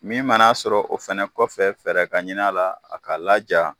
Min mana'a sɔrɔ o fɛnɛ kɔfɛ fɛrɛ ka ɲin a la a ka laja.